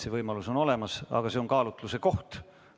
See võimalus on olemas, aga see on kaalutluse koht.